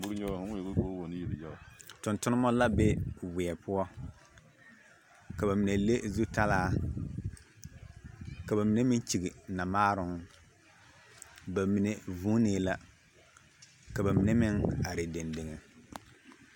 Duori yaga o maŋ yeli ka o wa wono yelyaga tontonmo la be weɛ poɔ ka ba mine le zutalaa ka ba mine meŋ kyigi namaaroŋ ba mine vuunee la ka ba mine meŋ are deŋdege.